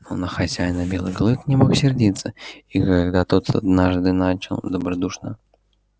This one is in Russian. но на хозяина белый клык не мог сердиться и когда тот однажды начал добродушно